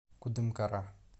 кудымкара